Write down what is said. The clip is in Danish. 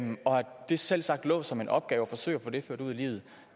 det selvsagt lå som en opgave at forsøge at få det ført ud i livet